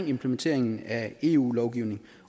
implementering af eu lovgivning